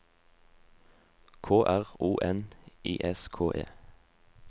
K R O N I S K E